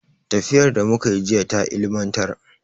Tafiyar da muka yi jiya ta ilimantar.